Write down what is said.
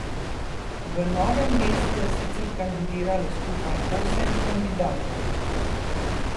V Novem mestu je sicer kandidiralo skupaj osem kandidatov.